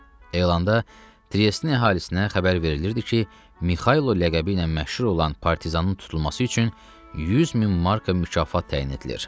Elanda Tres əhalisinə xəbər verilirdi ki, Mikaylo ləqəbi ilə məşhur olan partizanın tutulması üçün 100 min marka mükafat təyin edilir.